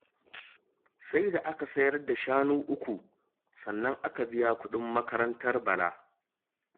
Sai da aka sayar da shanu uku sannan aka biya kuɗin makarantar Bala